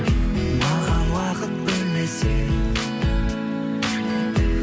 маған уақыт бөлмесең